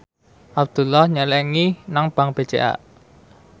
Abdullah nyelengi nang bank BCA